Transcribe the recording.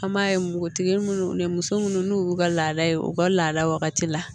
An b'a ye npogotigi minnu ni muso munnu n'u y'u ka laada ye u ka laada wagati la